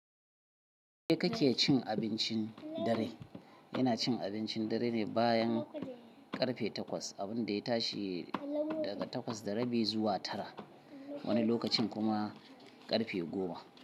Yaushe kake cin abincin dare? Icin abincin dare ne bayan karfe takwas, abinda ya tashi daga takwas da rabi zuwa tara wani lokacin kuma karfe goma.